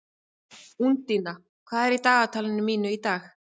Úndína, hvað er á dagatalinu mínu í dag?